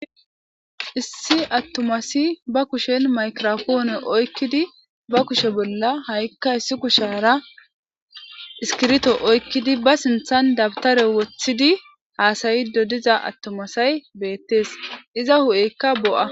issi attomasi ba kushen maykropoone oykkidi ba kushe bolla ha7ikka issi kushara iskirto oykkidi ba sinthan dabtare wothidi haasayido diza attomasay beettees iza hu7eykka bo7a